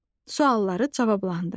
Sualları cavablandır.